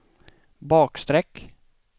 bakstreck